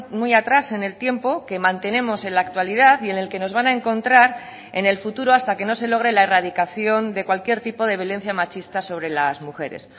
muy atrás en el tiempo que mantenemos en la actualidad y en el que nos van a encontrar en el futuro hasta que no se logre la erradicación de cualquier tipo de violencia machista sobre las mujeres